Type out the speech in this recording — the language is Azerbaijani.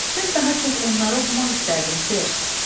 Mən daha çox onları oxumaq istərdim, ser.